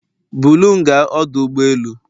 Bulu m gaa ọdụ ụgbọ elu